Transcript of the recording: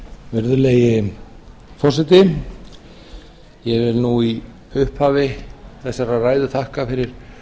virðulegi forseti ég vil í upphafi þessarar ræðu þakka fyrir